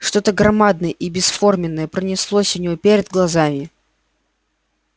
что-то громадное и бесформенное пронеслось у него перед глазами